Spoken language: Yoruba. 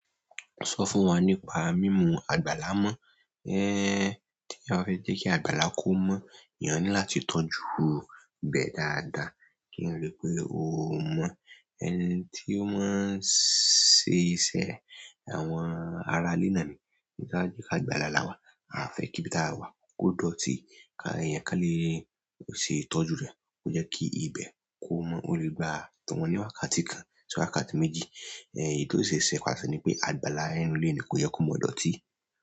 Sọ fún wa nípa mímú àgbàlá mọ́. Téèyàn bá fẹ́ jẹ́ kí àgbàlá kó mọ́, èèyàn ní láti tọ́jú ibẹ̀ dáadáa kí ó le pé ó mọ́. Ẹni tí ó máa ń ṣe iṣẹ́, àwọn aralénì àmì, ní kí a jẹ́ ká àgbàlá láwà, a fẹ́ kí ibi tí a wà ó dọ̀tí. Ka èèyàn k'ọ́n le ó ṣe tọ́jú rẹ̀, ó jẹ́ kí ibẹ̀ kó mọ́. Ó le gba tọ̀wọ́n ní wákàtí kan sí wákàtí méjì. Ẹ èyí tó ṣe é ṣe pàṣẹ ní pé àgbàlá ẹ́rù léèní kò yẹ kó mọ̀ dọ̀tí.